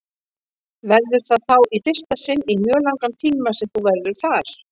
Verður það þá í fyrsta sinn í mjög langan tíma sem þú verður þar?